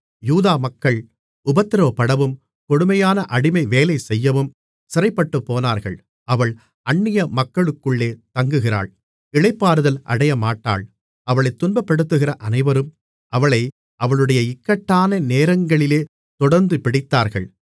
யூதா மக்கள் உபத்திரவப்படவும் கொடுமையான அடிமை வேலைசெய்யவும் சிறைப்பட்டுப்போனார்கள் அவள் அந்நிய மக்களுக்குள்ளே தங்குகிறாள் இளைப்பாறுதல் அடையமாட்டாள் அவளைத் துன்பப்படுத்துகிற அனைவரும் அவளை அவளுடைய இக்கட்டான நேரங்களிலே தொடர்ந்துபிடித்தார்கள்